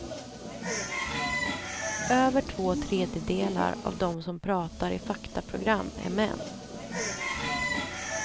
Över två tredjedelar av dem som pratar i faktaprogram är män.